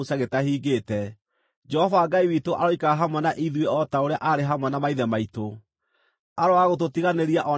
Jehova Ngai witũ aroikara hamwe na ithuĩ o ta ũrĩa aarĩ hamwe na maithe maitũ; aroaga gũtũtiganĩria o na kana gũtũtirika.